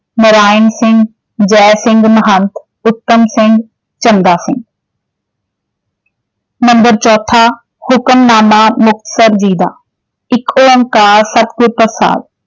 Narain Singh, Jai Singh Mahant, Uttam Singh, Chanda Singh. Number ਚੌਥਾ ਹੁਕਮਨਾਮਾ ਮੁਕਤਸਰ ਜੀ ਦਾ ਏਕ ਓਂਕਾਰ ਸਤਿਗੁਰ ਪ੍ਰਸ਼ਾਦ।